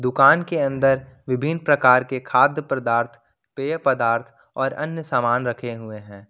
दुकान के अंदर विभिन्न प्रकार के खाद्य पदार्थ पेय पदार्थ और अन्य सामान रखे हुए हैं।